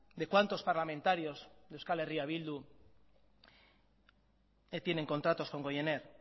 de cuántos parlamentarios de euskal herria bildu tienen contratos con goiener